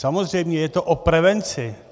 Samozřejmě, je to o prevenci.